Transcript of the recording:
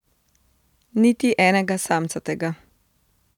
Niti enega samcatega.